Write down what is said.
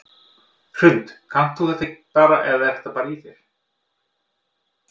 Hrund: Kannt þú þetta bara eða er þetta bara í þér?